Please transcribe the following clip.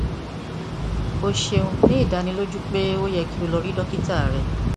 o ṣeun ni idaniloju pe o yẹ ki o lọ si dokita rẹ